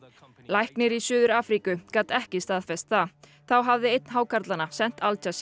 læknir í Suður Afríku gat ekki staðfest það þá hafi einn hákarlanna sent Al